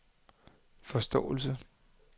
forståelse